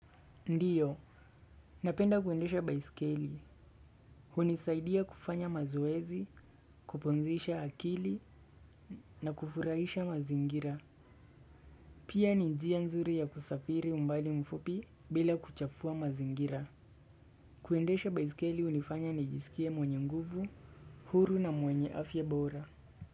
Ndiyo, napenda kuendesha baiskeli. Hunisaidia kufanya mazoezi, kupumzisha akili na kufurahisha mazingira. Pia ni njia nzuri ya kusafiri mbali mfupi bila kuchafua mazingira. Kuendesha baiskeli unifanya najisikie mwenye nguvu, huru na mwenye afye bora.